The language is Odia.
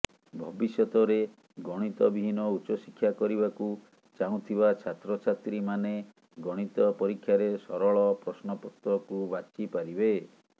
ଭବିଷ୍ୟତରେ ଗଣିତ ବିହୀନ ଉଚ୍ଚଶିକ୍ଷା କରିବାକୁ ଚାହୁଁଥିବା ଛାତ୍ରଛାତ୍ରୀମାନେ ଗଣିତ ପରୀକ୍ଷାରେ ସରଳ ପ୍ରଶ୍ନପତ୍ରକୁ ବାଛିପାରିବେ